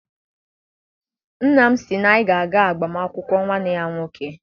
Nna m sị na anyị ga eje agbam akwụkwọ nwanne ya nwoke.